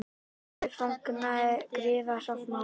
Blaðið fagnaði griðasáttmála